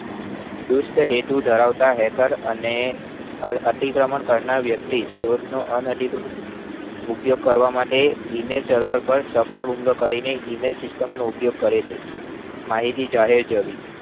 દૃષ્ટા હેતુ ધરાવતા hacker અને અતીક્રમન કરનાર વ્યક્તિ stores નો અન અધિકૃત ઉપયોગ કરવા માટ email server પર server નો email system નો ઉપયોગ કરે છે માહિતી જાહેર જવી